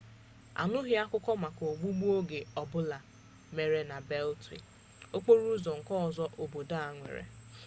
anụghị akụkọ maka ogbugbu oge ọbụla mere na beltwee okporo ụzọ nke ọzọ obodo a nwere